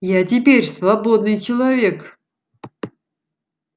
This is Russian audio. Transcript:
я теперь свободный человек